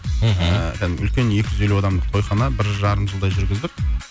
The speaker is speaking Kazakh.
мхм ыыы кәдімгі үлкен екі жүз елу адамдық тойхана бір жарым жылдай жүргіздік